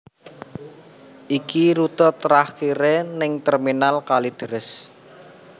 Iki rute terakhire ning Terminal Kalideres